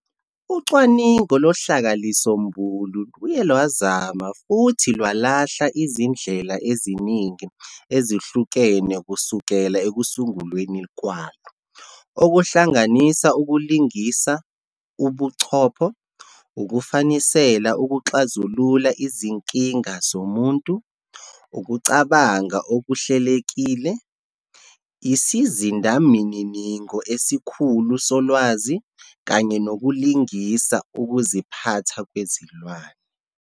Ucwaningo lohlakahlisombulu luye lwazama futhi lwalahla izindlela eziningi ezihlukene kusukela ekusungulweni kwalo, okuhlanganisa ukulingisa ubuchopho, ukufanisela ukuxazulula izinkinga zomuntu, ukucabanga okuhlelekile, isizindamininingo esikhulu solwazi kanye nokulingisa ukuziphatha kwezilwane.